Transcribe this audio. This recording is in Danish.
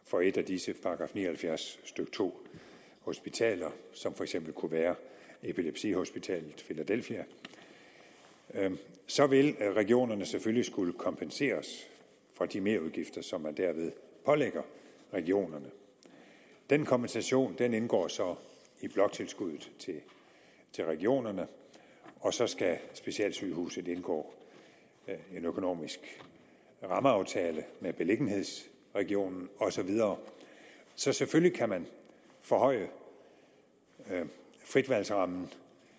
for et af disse § ni og halvfjerds stykke to hospitaler som for eksempel kunne være epilepsihospitalet filadelfia så vil regionerne selvfølgelig skulle kompenseres for de merudgifter som man derved pålægger regionerne den kompensation indgår så i bloktilskuddet til regionerne og så skal specialsygehuset indgå en økonomisk rammeaftale med beliggenhedsregionen og så videre så selvfølgelig kan man forhøje fritvalgsrammen